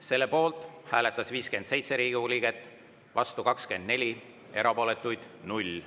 Selle poolt hääletas 57 Riigikogu liiget, vastu 24, erapooletuid 0.